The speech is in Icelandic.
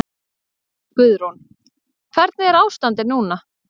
Guðrún: Hvernig er ástandið núna?